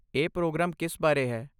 ਇਹ ਪ੍ਰੋਗਰਾਮ ਕਿਸ ਬਾਰੇ ਹੈ?